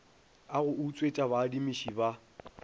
a go utswetša baadimišii ba